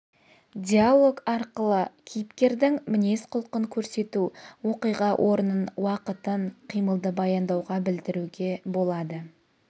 диалог арқылы кейіпкердің мінез-құлқын көрсету оқиға орнын уақытын қимылды баяндауға білдіруге болады